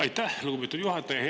Aitäh, lugupeetud juhataja!